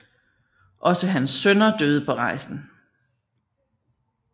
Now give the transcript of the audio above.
Også hans sønner døde på rejsen